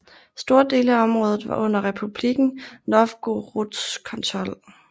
Store dele af området var under Republikken Novgorods kontrol